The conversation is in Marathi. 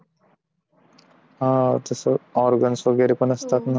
हा तसा organs वगैरे असतं